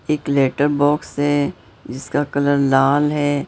एक letter box है जिसका कलर लाल है।